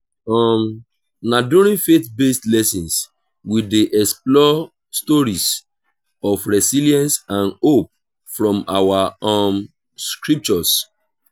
um na during faith-based lessons we dey explore stories of resilience and hope from our um scriptures.